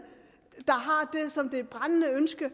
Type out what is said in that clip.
har det brændende ønske at